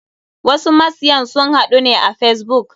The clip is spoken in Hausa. Wasu masyan sun haɗu ne a facebook.